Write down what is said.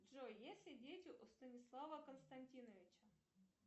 джой есть ли дети у станислава константиновича